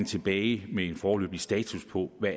tilbage med en foreløbig status på hvad